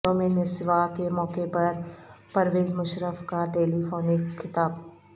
یوم نسواں کے موقع پر پرویز مشرف کا ٹیلی فونک خطاب